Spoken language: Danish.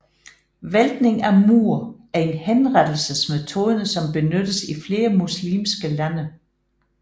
Væltning af mur er en henrettelsesmetode som benyttes i flere muslimske lande